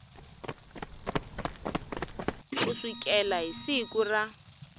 ku sukela hi siku ra